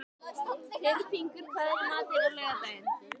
Tyrfingur, hvað er í matinn á laugardaginn?